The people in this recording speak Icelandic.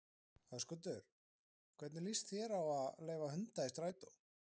Höskuldur: Hvernig líst þér á að leyfa hunda í strætó?